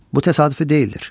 Bu təsadüfi deyildir.